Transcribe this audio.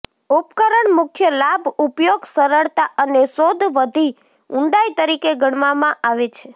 ઉપકરણ મુખ્ય લાભ ઉપયોગ સરળતા અને શોધ વધી ઊંડાઈ તરીકે ગણવામાં આવે છે